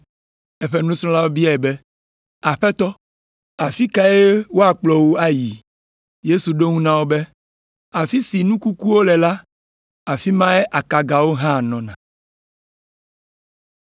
Eƒe nusrɔ̃lawo biae be, “Aƒetɔ afi kae woakplɔ wo ayi?” Yesu ɖo eŋu na wo be, “Afi si nu kukuwo le la, afi mae akagawo hã nɔna!”